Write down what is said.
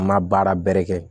An ma baara bɛrɛ kɛ